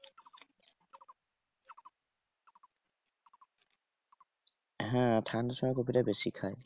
হ্যাঁ ঠান্ডার সময় কপিটা বেশি খায়।